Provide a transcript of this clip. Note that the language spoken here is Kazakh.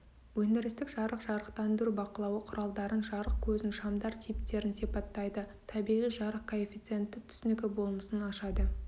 өндірістік жарық жарықтандыру бақылауы құралдарын жарық көзін шамдар типтерін сипаттайды табиғи жарық коэффициенті түсінігі болмысын ашады